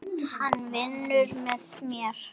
Hann vinnur með mér.